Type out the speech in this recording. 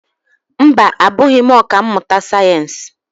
Mba, abụghị m ọkà mmụta sayensị.